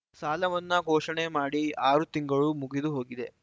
ಸಾಲವನ್ನಾ ಘೋಷಣೆ ಮಾಡಿ ಆರು ತಿಂಗಳು ಮುಗಿದುಹೋಗಿದೆ